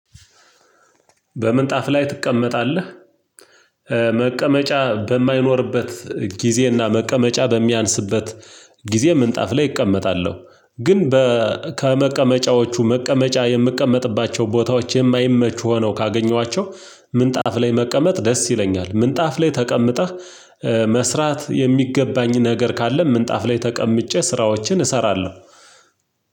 በምንጣፍ ላይ ትቀመጣለህ? መቀመጫ በማይኖርበት ጊዜና መቀመጫ በሚያንስበት ጊዜ ምንጣፍ ላይ እቀመጣለሁ። ግን በ ከመቀመጫዎቹ መቀመጫ የምቀመጥባቸው ቦታዎች የማይመቹ ሆነው ካገኘኋቸው ምንጣፍ ላይ መቀመጥ ደስ ይለኛል። ምንጣፍ ላይ ተቀምጠህ መስራት የሚገባኝን ነገር ካለ ምንጣፍ ላይ ተቀምጬ ስራዎችን እሰራለሁ።